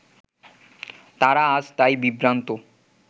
তারা আজ তাই বিভ্রান্ত